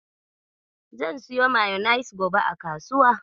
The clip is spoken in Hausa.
Zan siyo mayanis gobe a kasuwa.